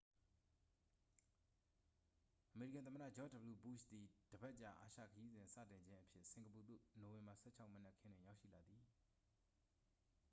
အမေရိကန် သမ္မတ ဂျော့ဂျ်ဒဗလျူဘုရှ်သည် တစ်ပတ်ကြာ အာရှခရီးစဉ်စတင်ခြင်းအဖြစ် စင်ကာပူသို့ နိုဝင်ဘာ 16 မနက်ခင်းတွင် ရောက်ရှိလာသည်